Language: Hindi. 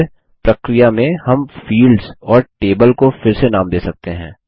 और फिर प्रक्रिया में हम फील्ड्स और टेबल को फिर से नाम दे सकते हैं